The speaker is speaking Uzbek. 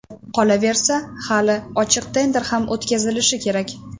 Qolaversa, hali ochiq tender ham o‘tkazilishi kerak.